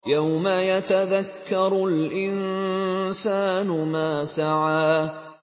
يَوْمَ يَتَذَكَّرُ الْإِنسَانُ مَا سَعَىٰ